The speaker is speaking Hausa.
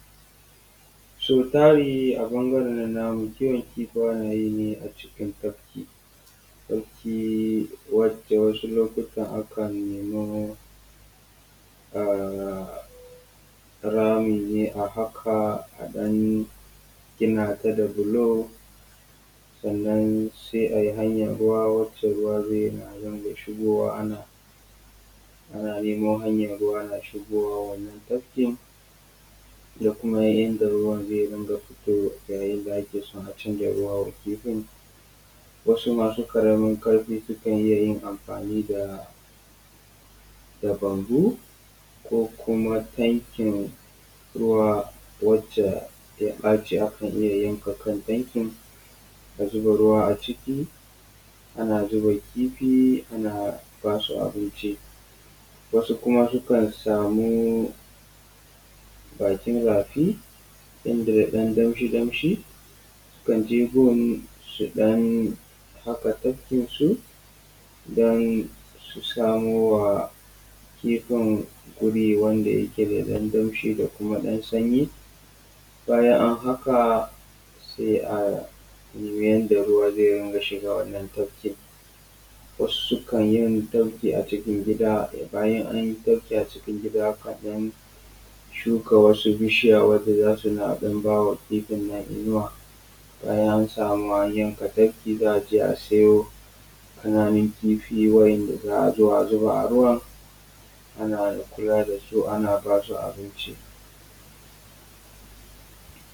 Sau tari a ɓangaran nan namu kiwon kifaye ne a cikin tafki, tafki wanda wasu lokutan akan [ummmn] nemi rami ne a haƙa a ɗan gina ta da bulo sannan sai ayi hanyan ruwa wacce ruwa zai na dinga shigowa ana nemo hanya ruwa na shigowa wannan tafkin da kuma yanda ruwa zai dinga fito yayin da ake so a canza ruwa wa kifin wasu masu ƙaramin ƙarfi sukan iya amfani da da bambu ko kuma tankin ruwa wacce ya ɓaci akan iya yanka kan tankin a zuba ruwa a ciki ana zuba kifi ana ba su abinci. Wasu kuma sukan samu bakin rafi inda da ɗan damshi damshi, sukan je gun su ɗan haƙa tafkin su don su samowa kifin guri wanda yake da ɗan damshi da kuma ɗan sanyi. Bayan an haƙa sai a nemi yanda ruwa zai dinga shiga wannan tafkin. Wasu sukan yin tafki a cikin gida bayan anyi tafki a cikin gida, akan ɗan shuka wasu bishiya wanda za su na ɗan bawa kifin inuwa, bayan an samu an yanka tafki za a je a siyo ƙananun kifi wa'inda za a zo a zuba a ruwa ana kula da su ana ba su abinci.